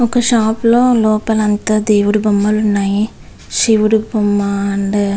వక షాప్ లొ లోపల అంత దేవుడి బొమ్మలు ఉన్నాయి శివువడు బొమ్మ--